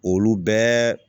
Olu bɛɛ